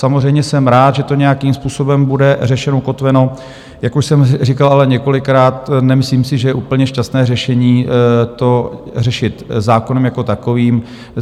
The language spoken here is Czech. Samozřejmě jsem rád, že to nějakým způsobem bude řešeno, ukotveno, jak už jsem říkal ale několikrát, nemyslím si, že je úplně šťastné řešení to řešit zákonem jako takovým.